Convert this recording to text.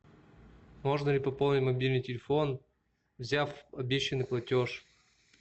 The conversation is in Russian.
можно ли пополнить мобильный телефон взяв обещанный платеж